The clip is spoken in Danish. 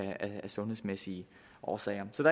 sundhedsmæssige årsager så